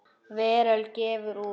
Veröld gefur út.